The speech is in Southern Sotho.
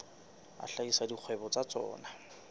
a hlahisa dikgwebo tsa tsona